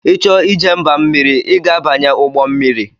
Ị chọọ ije mba mmiri, I ga abanye ụgbọ mmiri